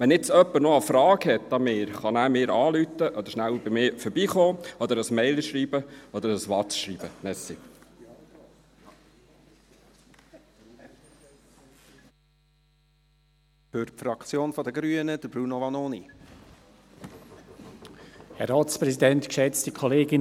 Falls jetzt noch jemand eine Frage an mich hat, kann er mich anrufen, rasch bei mir vorbeikommen, mir eine E-Mail schreiben oder eine WhatsApp-Nachricht schreiben.